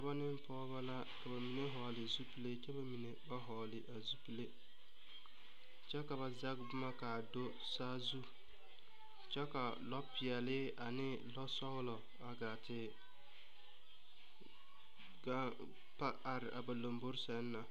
Dɔbɔ ne pɔgɔbɔ la. Ka ba mene vogle zipule kyɛ ka ba mene ba vogle a zupule. Kyɛ ka ba zeg boma kaa do saazu kyɛ ka a lɔ piɛle ane lɔ sɔglɔ a gaa te gaŋ pa are a ba lombɔe sɛŋ na